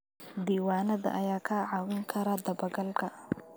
Diiwaanada ayaa kaa caawin kara dabagalka.